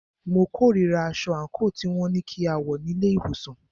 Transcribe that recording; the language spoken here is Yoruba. Mo kòrira aṣọ àńkò tí wọn ní kí a wọ̀ ní ilé ìwòsàn.